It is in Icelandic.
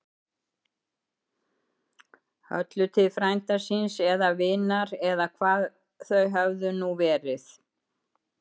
Höllu til frænda síns. eða vinar. eða hvað þau höfðu nú verið.